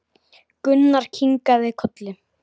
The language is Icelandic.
Gunnar kinkaði kolli.